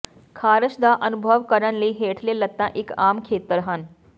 ਖਾਰਸ਼ ਦਾ ਅਨੁਭਵ ਕਰਨ ਲਈ ਹੇਠਲੇ ਲੱਤਾਂ ਇਕ ਆਮ ਖੇਤਰ ਹਨ